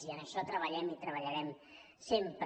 i en això treballem i treballarem sempre